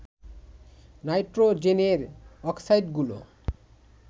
নাইট্রোজেনের অক্সাইডগুলো